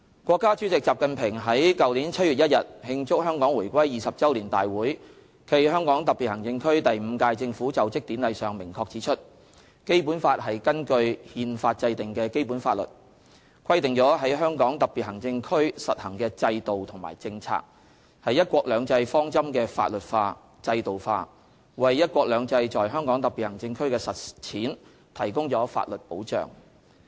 國家主席習近平在去年7月1日慶祝香港回歸20周年大會暨香港特別行政區第五屆政府就職典禮上明確指出："《基本法》是根據《憲法》制定的基本法律，規定了在香港特別行政區實行的制度和政策，是'一國兩制'方針的法律化、制度化，為'一國兩制'在香港特別行政區的實踐提供了法律保障。